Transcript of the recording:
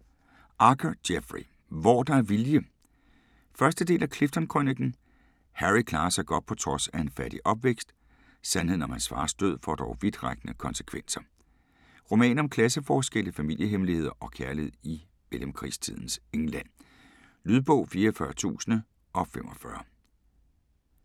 Archer, Jeffrey: Hvor der er vilje 1. del af Clifton-krøniken. Harry klarer sig godt på trods af en fattig opvækst. Sandheden om hans fars død, får dog vidtrækkende konsekvenser. Roman om klasseforskelle, familiehemmeligheder og kærlighed i mellemkrigstidens England. Lydbog 44045 Indlæst af Jesper Bøllehuus, 2016. Spilletid: 12 timer, 54 minutter.